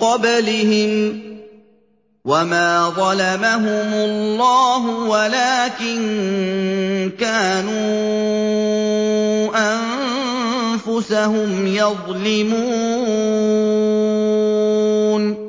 قَبْلِهِمْ ۚ وَمَا ظَلَمَهُمُ اللَّهُ وَلَٰكِن كَانُوا أَنفُسَهُمْ يَظْلِمُونَ